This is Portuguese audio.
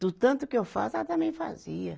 Do tanto que eu faço, ela também fazia.